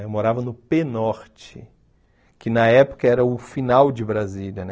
Eu morava no Pê-Norte, que na época era o final de Brasília, né?